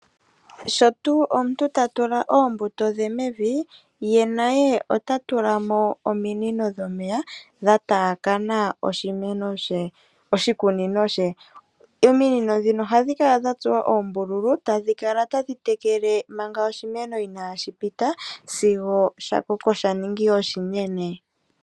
Shotuuu omuntu tatula oombuto dhe mevi ye naye otatulamono ominino dhomeya dhaataakama oshikunino she . Ominino ndhino ohadhi kala dhatsuwa oombululu tadhi kala tadhi tekela manga oshimeno inashi pita sigo sha koko tashi ningi oshinene.